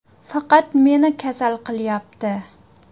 Faqat meni kasal qilyapti.